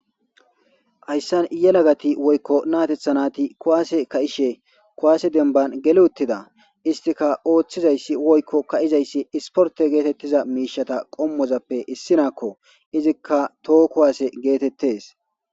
hayssan yelagati woykko naatethanati kuwaase ka7ishe kuwaase denban gele uttida istika ooththizayssi woykko ka7izayssi isporte geetettiza miishata qommozappe issinaakko izikka too kuwaase geetettes